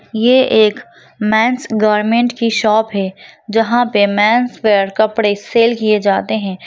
ये एक men's garment की शॉप है जहाँ पे मेंस वियर कपड़े सेल् किये जाते हैं।